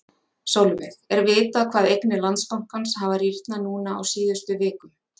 Sólveig: Er vitað hvað eignir Landsbankans hafa rýrnað núna á síðustu vikum?